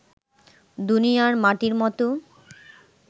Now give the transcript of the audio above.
দুনিয়ার মাটির মত